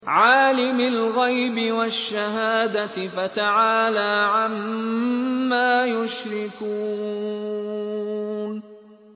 عَالِمِ الْغَيْبِ وَالشَّهَادَةِ فَتَعَالَىٰ عَمَّا يُشْرِكُونَ